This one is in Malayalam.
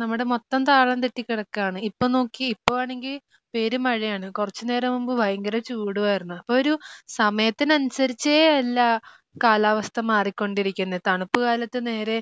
നമ്മുടെ മൊത്തം താളം തെറ്റി കിടക്കുകയാണ് ഇപ്പം നോക്കിയേ ഇപ്പം ആണെങ്കിൽ പെരുമഴയാണ് കുറച്ചു നേരം മുമ്പ് ഭയങ്കര ചൂടുമായിരുന്നു അപ്പോ ഒരു സമയത്തിനനുസരിച്ചേയല്ല കാലാവസ്ഥ മാറിക്കൊണ്ടിരിക്കുന്നെ തണുപ്പുകാലത്ത് നേരെ